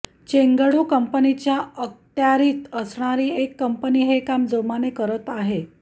Chengdu कंपनीच्या अखत्यारीत असणारी एक कंपनी हे काम जोमाने करत आहे